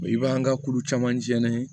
I b'an ka kulu camancɛ n'a ye